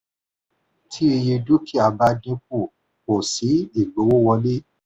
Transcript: tí iye dúkìá bá dín kù kò sí igbówówọlé.